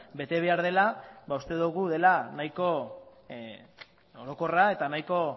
bete behar dela uste dugu dela nahiko orokorra eta nahiko